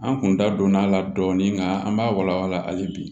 An kun da donna a la dɔɔnin nka an b'a wala wala hali bi